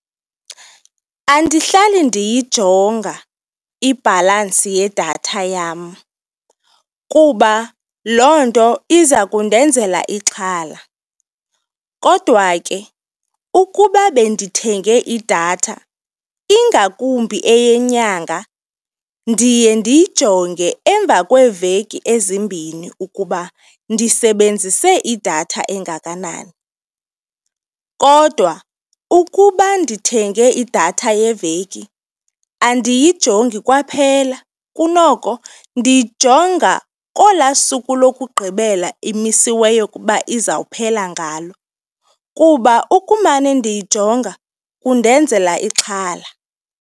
Andihlali ndiyijonga ibhalansi yedatha yam kuba loo nto iza kundenzela ixhala kodwa ke ukuba bendithenge idatha ingakumbi eyenyanga, ndiye ndiyijonge emva kweeveki ezimbini ukuba ndisebenzise idatha engakanani. Kodwa ukuba ndithenge idatha yeveki, andiyijongi kwaphela kunoko ndiyijonga kolwaa suku lokugqibela imisweyo ukuba izawuphela ngalo kuba ukumane ndiyijonga kundenzela ixhala.